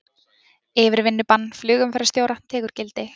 Yfirvinnubann flugumferðarstjóra tekur gildi